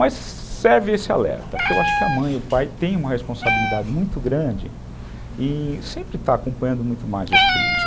Mas serve esse alerta, que eu acho que a mãe e o pai têm uma responsabilidade muito grande e sempre estão acompanhando muito mais os filhos.